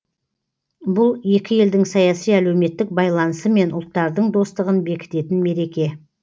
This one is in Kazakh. бұл екі елдің саяси әлеуметтік байланысы мен ұлттардың достығын бекітетін мереке